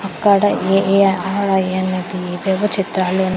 అక్కడ ఏ_ఏ_ఆర్_ఐ_ఏన్ అనేది ఏవేవో చిత్రాలు --